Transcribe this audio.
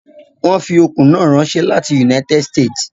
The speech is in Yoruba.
I do not like to wear lace on Fridays